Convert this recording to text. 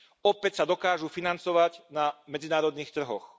Opäť sa dokážu financovať na medzinárodných trhoch.